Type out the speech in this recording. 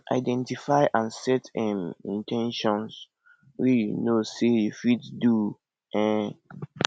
identify and set um in ten tions wey you know sey you fit do um